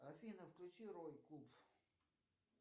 афина включи рой куб